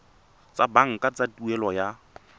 tsa banka tsa tuelo ya